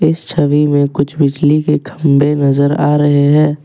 इस छवि में कुछ बिजली के खंभे नजर आ रहे हैं।